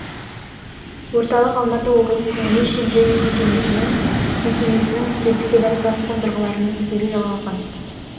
орталық алматы облысының он үш емдеу мекемесінің жетпістен астам қондырғыларымен тікелей жалғанған